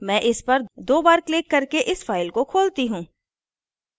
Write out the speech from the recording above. मैं इस पर दो बार क्लिक करके इस file को खोलती हूँ